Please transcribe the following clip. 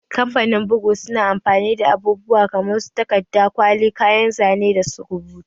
Kamfanin bugu suna amfani da abubuwa kamar su takarda, kwali, kayan zane da rubutu